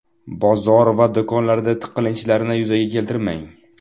Bozor va do‘konlarda tiqilinchlarni yuzaga keltirmang.